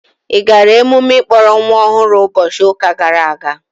Ị gara emume ịkpọrọ nwa ọhụrụ ụbọchị ụka gara aga?